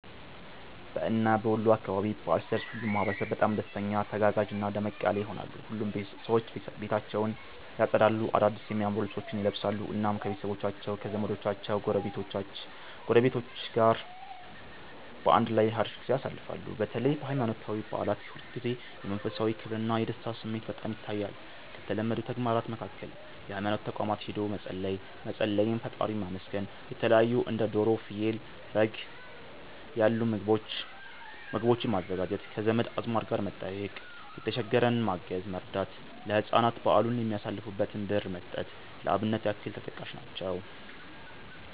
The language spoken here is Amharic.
በእና በወሎ አካባቢ በዓል ሲደርስ ሁሉም ማህበረሰብ በጣም ደስተኛ፣ ተጋጋዥና ደመቅ ያለ ይሆናል። ሁሉም ሰዎች ቤታቸውን ያፀዳሉ፣ አዳድስ የሚያማምሩ ልብሶችን ይለብሳሉ፣ እናም ከቤተሰቦቻቸው ከዘመዶቻቸው ጎረቤቶች ጋር በአንድ ላይ ሀሪፍ ጊዜ ያሳልፋሉ። በተለይ በሃይማኖታዊ በዓላት ጊዜ የመንፈሳዊ ክብርና የደስታ ስሜት በጣም ይታያል። ከተለመዱ ተግባራት መካከል ሀይማኖት ተቋማት ሂዶ መፀለይ፣ መፀለይ (ፈጣሪን ማመስገን)፣የተለታዩ እንደ ዶሮ፣ ፍየል፣ በግ ያሉ ምግቦችን ማዘጋጀት፣ ከዘመድ አዝማድ ጋር መጠያየቅ፣ የተሸገረን ማገዝ(መርዳት)፣ ለህፃናት በዓሉን የሚያሳልፉበትን ብር መስጠት ለአብነት ያክል ተጠቃሽ ናቸው።